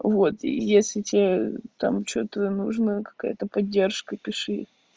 вот если тебе там что-то нужна какая-то поддержка пиши